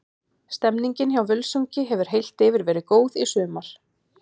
Stemmningin hjá Völsungi hefur heilt yfir verið góð í sumar.